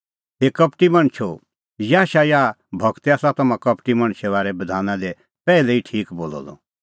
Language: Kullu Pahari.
हे कपटी मणछो याशायाह गूरै आसा तम्हां कपटी मणछे बारै बधाना दी पैहलै ई ठीक बोलअ द